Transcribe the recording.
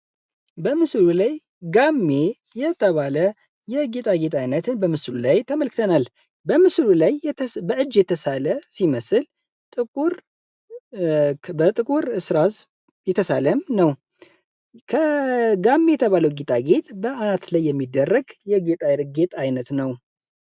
በምስሉ ላይ ጋሜ የተባለ የጌጣ ጌጥ አይነትን በምስሉ ላይ ተመልክተናል ።በምስሉ ላይ በእጅ የተሳለ ሲመስል በጥቁር እስራዝ የተሳለም ነው ከጋሜ የተባለ ጌጣ ጌጥ በአናት ላይ የሚደረግ የጌጣ የጌጥ አይነት ነው።